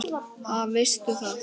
Ha, veistu það?